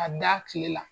A da tile la